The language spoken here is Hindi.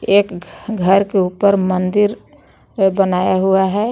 एक घ घर के ऊपर मंदिर बनाया हुआ है।